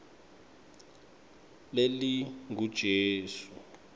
lelingujesu